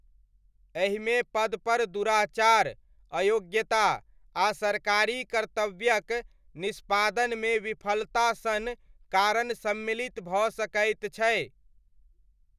एहिमे पदपर दुराचार, अयोग्यता, या सरकारी कर्तव्यक निष्पादनमे विफलता सन कारण सम्मिलित भऽ सकैत छै।